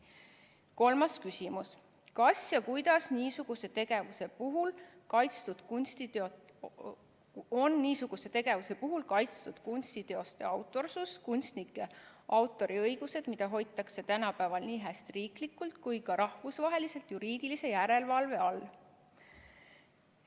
Kolmas küsimus: "Kas ja kuidas on niisuguse tegevuse puhul kaitstud kunstiteoste autorsus, kunstnike autoriõigused, mida hoitakse tänapäeval niihästi riiklikult kui ka rahvusvaheliselt juriidilise järelvalve all?